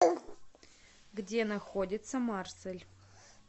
где находится марсель